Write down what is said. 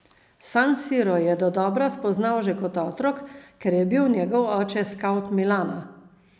San Siro je dodobra spoznal že kot otrok, ker je bil njegov oče skavt Milana.